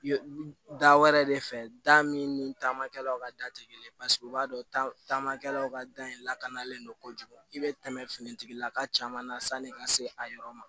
Da wɛrɛ de fɛ da min ni taamakɛlaw ka da tɛ kelen ye paseke u b'a dɔn taamakɛlaw ka da in lakanalen don kojugu i bɛ tɛmɛ finitigilaka caman na sanni ka se a yɔrɔ ma